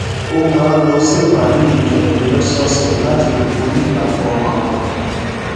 ó máa ń lọ sí ìpàdé ìjọ èmí lósòòsè láti lè borí ìdààmú ọkàn rè